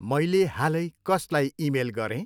मैले हालै कसलाई इमेल गरेँ?